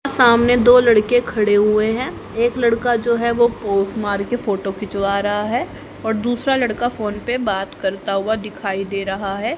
सामने दो लड़के खड़े हुए हैं एक लड़का जो है वो पोज मार के फोटो खिंचवा रहा है और दूसरा लड़का फोन पे बात करता हुआ दिखाई दे रहा है।